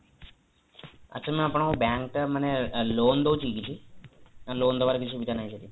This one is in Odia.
ଆଚ୍ଛା ma'am ଆପଣକ bank ଟା ମାନେ loan ଦଉଛି କି କିଛି ନା lone ଦବାର କିଛି ସୁବିଧା ନାହିଁ ସେଠି